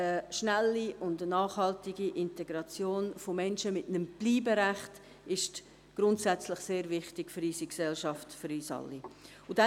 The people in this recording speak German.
Schnelle und nachhaltige Integration von Menschen mit einem Bleiberecht ist grundsätzlich sehr wichtig für unsere Gesellschaft, für uns alle.